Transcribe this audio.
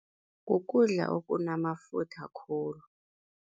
Kukudla okunamafutha khulu.